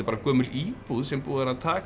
gömul íbúð sem búið er að taka